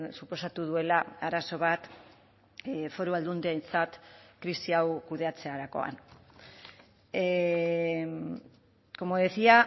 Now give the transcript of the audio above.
suposatu duela arazo bat foru aldundientzat krisi hau kudeatzerakoan como decía